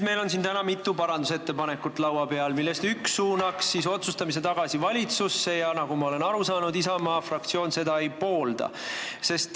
Meil on siin laua peal mitu parandusettepanekut, millest üks suunaks otsustamise tagasi valitsusse, ja nagu ma olen aru saanud, Isamaa fraktsioon seda ei poolda.